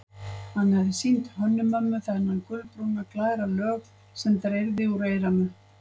Hann hafði sýnt Hönnu-Mömmu þennan gulbrúna, glæra lög sem dreyrði úr eyranu.